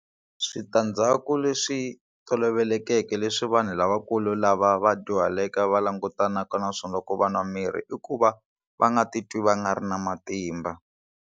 Switandzhaku leswi tolovelekeke leswi vanhu lavakulu lava va dyuhaleke va langutanaka na swona ku va nwa mirhi i ku va va nga titwi va nga ri na matimba.